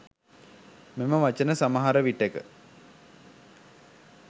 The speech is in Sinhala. මෙම වචන සමහර විටක